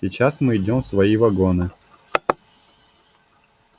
сейчас мы идём в свои вагоны